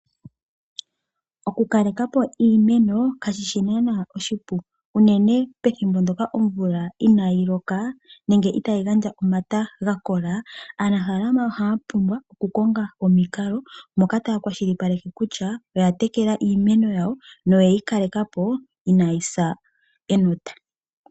Okukale kapo iimeno kashishi naanaa oshipu unene tuu ethimbo ndono omvula inaayi loka nenge itaayi gandja omata gakola aanafaalama ohaa pumbwa oku konga omikalo moka taakwashili paleke kutya oyatekela iimeno yawo noyeyi kalekapo inaayisa enota.